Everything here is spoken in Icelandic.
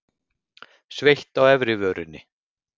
Sveitt á efri vörinni.